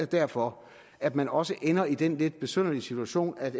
derfor at man også ender i den lidt besynderlige situation at